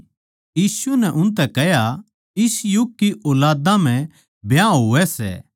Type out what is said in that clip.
यीशु नै उनतै कह्या इस युग की ऊलादां म्ह ब्याह होवै सै